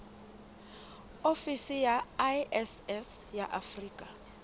ofisi ya iss ya afrika